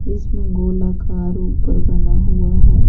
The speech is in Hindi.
इसमें गोलाकार ऊपर बना हुआ है।